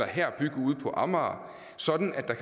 her at bygge på amager sådan at der